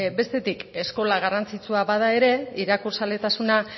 bestetik eskola garrantzitsua bada ere irakurzaletasuna